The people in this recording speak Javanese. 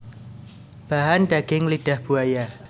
Bahan Daging lidah buaya